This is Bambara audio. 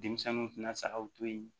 Denmisɛnninw tɛna sagaw to yen